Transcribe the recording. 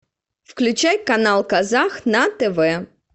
включай канал казах на тв